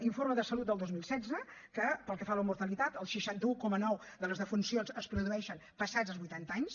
informe de salut del dos mil setze que pel que fa a la mortalitat el seixanta un coma nou de les defuncions es produeixen passats els vuitanta anys